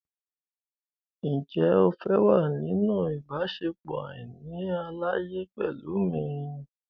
Ǹjẹ́ o fẹ́ wà nínú ìbáṣepọ̀ àìní àlàyé pẹ̀lú mi?